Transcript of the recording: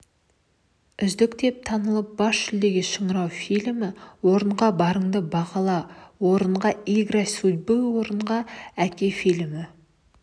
үздік деп танылып бас жүлдеге шыңырау фильмі орынға барыңды бағала орынға игра судьбы орынға әке фильмі